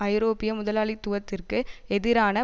ஐரோப்பிய முதலாளித்துவத்திற்கு எதிரான